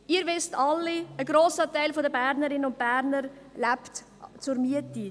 Sie alle wissen, dass ein grosser Teil der Bernerinnen und Berner zur Miete lebt.